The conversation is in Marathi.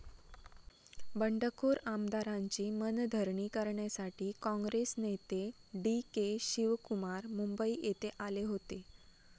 बंडखोर आमदारांची मनधरणी करण्यासाठी काँग्रेस नेते डी. के शिवकुमार मुंबई येथे आले होते.